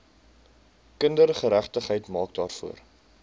kindergeregtigheid maak daarvoor